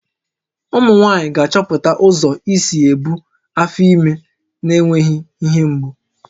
Ụmụ nwaanyị ga-achọpụta ụzọ isi ebu afọ ime na-enweghị ihe mgbu